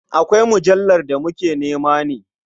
Akwai mujallar da muke nema ne?